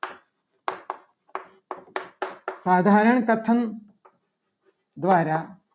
સાધારણ પ્રથમ દ્વારા